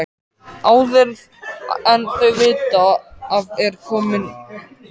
Áður en þau vita af er komið myrkur.